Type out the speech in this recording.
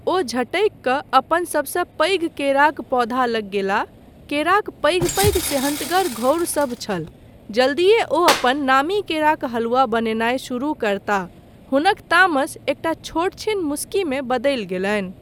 ओ झटकि कऽ अपन सबसँ पैघ केराक पौधा लग गेलाह। केराक पैघ पैघ सेहन्तगर घौंरसभ छल। जल्दीये ओ अपन नामी केराक हलुवा बनेनाय शुरू करताह। हुनक तामस एकटा छोटछीन मुस्कीमे बदलि गेलनि।